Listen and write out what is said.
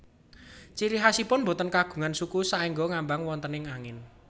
Ciri khasipun boten kagungan suku saéngga ngambang wonten angin